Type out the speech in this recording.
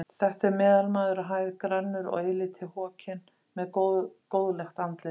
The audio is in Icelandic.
Þetta er meðalmaður á hæð, grannur og eilítið hokinn, með góðlegt andlit.